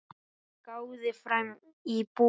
Hann gáði fram í búð.